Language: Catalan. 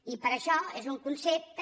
i per això és un concepte